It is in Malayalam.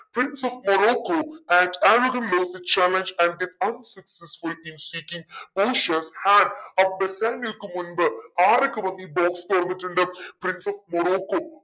prince of Morocco had made the challenge in seeking പോഷിയ ബെസനിയക്ക് മുൻപ് ആരൊക്കെ വന്ന് ഈ box തുറന്നിട്ടുണ്ട് prince ഓഫ മൊറോക്കോ